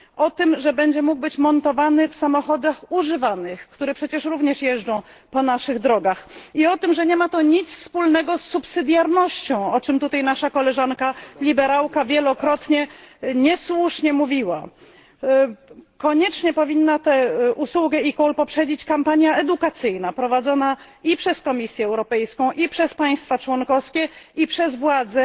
o tym, że będzie mógł być montowany w samochodach używanych, które przecież również jeżdżą po naszych drogach, i o tym, że nie ma to nic wspólnego z pomocniczością, o czym tutaj nasza koleżanka liberałka wielokrotnie niesłusznie mówiła. Koniecznie powinna tę usługę eCall poprzedzić kampania edukacyjna prowadzona i przez Komisję Europejską, i przez państwa członkowskie, i przez władze